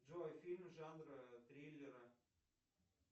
джой фильм жанра триллера